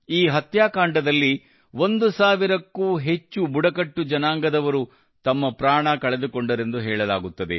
ಈ ಹತ್ಯಾಕಾಂಡದಲ್ಲಿ ಒಂದು ಸಾವಿರಕ್ಕೂ ಅಧಿಕ ಬುಡಕಟ್ಟು ಜನಾಂಗದವರು ತಮ್ಮ ಪ್ರಾಣ ಕಳೆದುಕೊಂಡರೆಂದು ಹೇಳಲಾಗುತ್ತದೆ